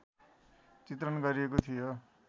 चित्रण गरिएको थियो